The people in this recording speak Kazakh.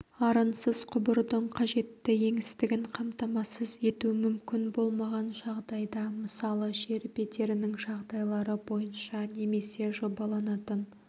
арынсыз құбырдың қажетті еңістігін қамтамасыз ету мүмкін болмаған жағдайда мысалы жер бедерінің жағдайлары бойынша немесе жобаланатын